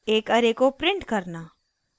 एक array array को print करना